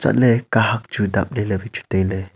ale kahak chu dap le wai chu taile.